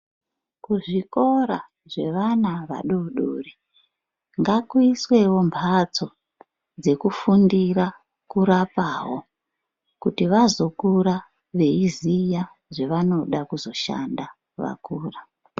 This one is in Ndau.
Kuzvikora zvevana vadodori ngakuiswewo mbatso dzekufundira kurapawo kuti vazokura veiziya zvevanoda kushanda vakura.